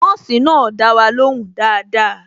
Nọ́ọ̀sì náà dá wa ló hùn dáadáa